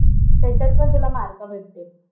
त्याच्यात पण तुला मार्क भेटतील.